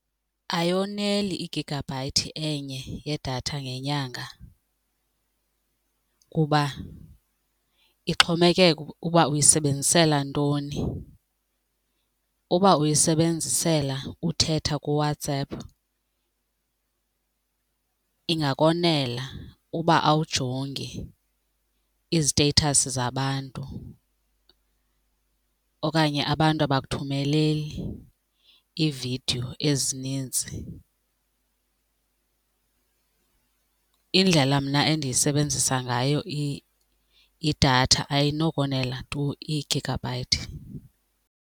Ayoneli igigabhayithi enye yedatha ngenyanga kuba ixhomekeka ukuba uyisebenzisela ntoni. Uba uyisebenzisela uthetha kuWhatsApp ingakonela uba awujongi iiziteyithasi zabantu okanye abantu abakuthumeli iividiyo ezininzi. Indlela mna endiyisebenzisa ngayo idatha ayinokonela tu i-gigabyte.